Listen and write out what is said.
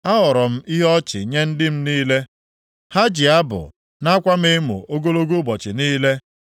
Aghọrọ m ihe ọchị nye ndị m niile; ha ji abụ na-akwa m emo ogologo ụbọchị niile.